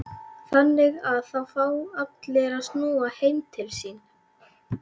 Þannig að það fá allir að snúa heim til sín?